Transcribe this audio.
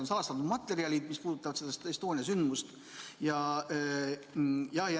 Need salastatud materjalid puudutavad seda Estonia sündmust.